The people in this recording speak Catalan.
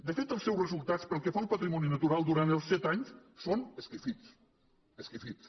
de fet els seus resultats pel que fa al patrimoni natural durant els set anys són esquifits esquifits